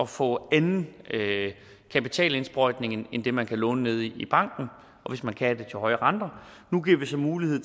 få anden kapitalindsprøjtning end det man kan låne nede i banken og hvis man kan er det til høje renter nu giver vi så mulighed